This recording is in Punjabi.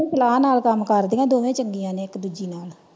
ਸਲਾਹ ਨਾਲ ਕੰਮ ਕਰਦਿਆਂ ਨੇ ਦੋਵੇਂ ਚੰਗੀਆਂ ਨੇ ਇੱਕ ਦੂਜੀ ਨਾਲ।